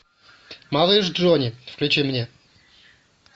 малыш джони включи мне